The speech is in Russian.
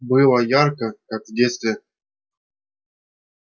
было ярко как в детстве